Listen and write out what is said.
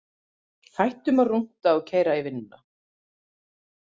Hættum að rúnta og keyra í vinnuna.